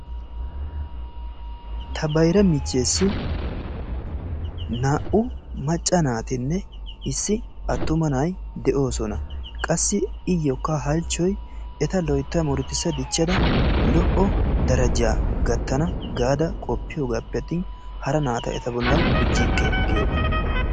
Ta bayra michchesi naa"u macca naatinne issi attuma na'ay de"oosona. Qassi iyookka halchchoy eta loytta muruttisa diichchada lo"o darajaa gaattana gaada qoppiyoogappe attin hara naata eta bollaan gujjike giyoogaa.